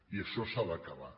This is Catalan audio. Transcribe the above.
i això s’ha d’acabar